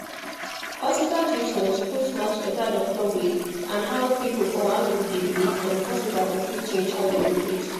hospital treatment suppose match better doctor way and how people for one group dey believe and hospital go fit change how dem dey treat